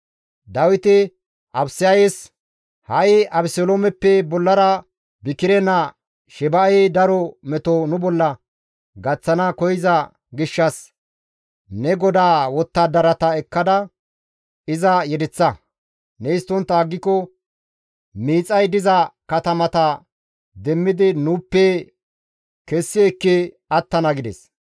Dawiti Abisayes, «Ha7i Abeseloomeppe bollara Bikire naa Sheba7ey daro meto nu bolla gaththana koyza gishshas ne godaa wottadarata ekkada iza yedeththa; ne histtontta aggiko miixay diza katamata demmidi nuuppe kessi ekki attana» gides.